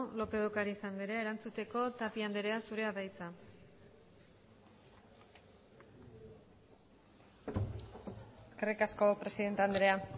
lópez de ocariz andrea erantzuteko tapia andrea zurea da hitza eskerrik asko presidente andrea